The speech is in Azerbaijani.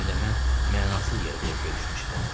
Həm də mən mənasız yerə qorxuya düşmüşəm.